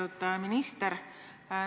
Lugupeetud minister!